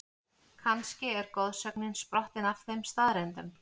Kannski er goðsögnin sprottin af þeim staðreyndum?